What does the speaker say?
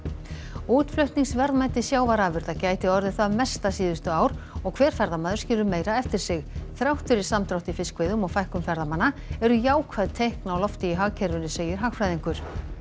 útflutningsverðmæti sjávarafurða gæti orðið það mesta síðustu ár og hver ferðamaður skilur meira eftir sig þrátt fyrir samdrátt í fiskveiðum og fækkun ferðamanna eru jákvæð teikn á lofti í hagkerfinu segir hagfræðingur